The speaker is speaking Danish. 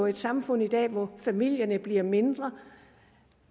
et samfund i dag hvor familierne bliver mindre